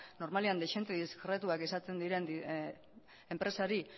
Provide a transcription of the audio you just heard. normalean dezente diskretuak izaten diren enpresari